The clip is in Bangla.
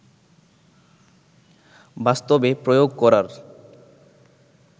বাস্তবে প্রয়োগ করার